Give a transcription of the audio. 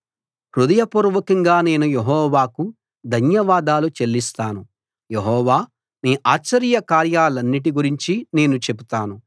హృదయ పూర్వకంగా నేను యెహోవాకు ధన్యవాదాలు చెల్లిస్తాను యెహోవా నీ ఆశ్చర్య కార్యాలన్నిటి గురించి నేను చెబుతాను